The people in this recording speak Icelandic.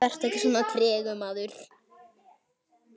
Vertu ekki svona tregur, maður!